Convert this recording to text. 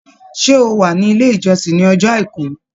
Ṣé ó wà ní ilé ìjọsìn ní ọjọ́ Àìkú?